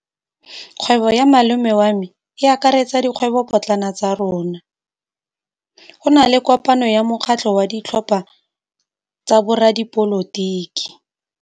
Kgwêbô ya malome wa me e akaretsa dikgwêbôpotlana tsa rona. Go na le kopanô ya mokgatlhô wa ditlhopha tsa boradipolotiki.